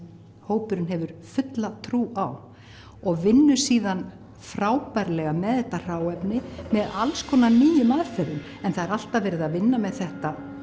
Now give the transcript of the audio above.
hópurinn hefur fulla trú á og vinnur síðan frábærlega með þetta hráefni með alls konar nýjum aðferðum en það er alltaf verið að vinna með þetta